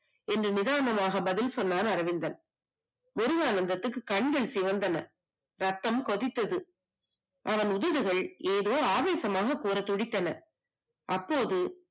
இன்று மிரண்டலாக பதில் சொன்னால் அரவிந்தன் முருகானந்தத்துக்கு கண்கள் சிவந்தன ரத்தம் குதித்தது அவன் உதடுகள் ஆவேசமாக துடித்தன அப்போது